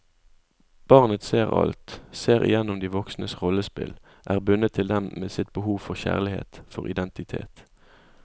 Barnet ser alt, ser igjennom de voksnes rollespill, er bundet til dem med sitt behov for kjærlighet, for identitet.